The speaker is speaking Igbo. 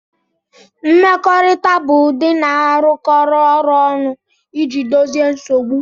Mmekọrịta bụ ụdị na-arụkọ ọrụ ọnụ iji dozie nsogbu